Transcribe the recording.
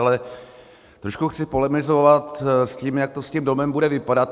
Ale trošku chci polemizovat s tím, jak to s tím domem bude vypadat.